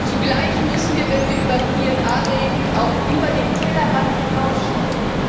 Zugleich müssen wir, wenn wir über PNR reden, auch über den Tellerrand hinausschauen.